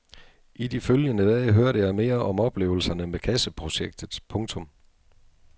I de følgende dage hørte jeg mere om oplevelserne med kasseprojektet. punktum